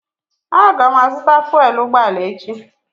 Aga m azụta fụèl ụgbọala echi